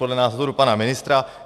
Podle názoru pana ministra.